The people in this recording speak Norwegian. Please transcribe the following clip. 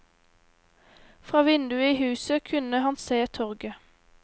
Fra vinduet i huset kunne han se torget.